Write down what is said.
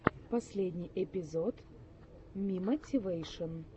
последний эпизод мимотивэйшн